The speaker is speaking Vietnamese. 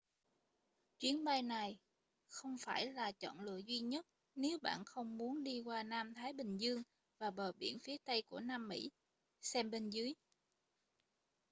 chuyến bay này không phải là chọn lựa duy nhất nếu bạn không muốn đi qua nam thái bình dương và bờ biển phía tây của nam mỹ. xem bên dưới